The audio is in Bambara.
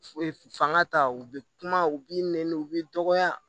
Fanga ta u bɛ kuma u b'i nɛni u b'i dɔgɔya